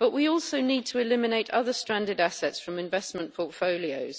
but we also need to eliminate other stranded assets from investment portfolios.